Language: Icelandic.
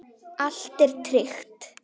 Allt er tryggt.